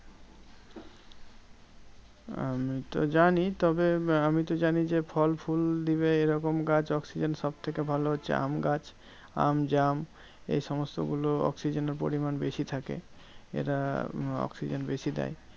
আমি তো জানি তবে আমিতো জানি যে, ফল ফুল দিবে এরকম গাছ oxygen সবথেকে ভালো হচ্ছে আমগাছ। আম জাম এই সমস্তগুলো oxygen এর পরিমান বেশি থাকে। এরা oxygen বেশি দেয়।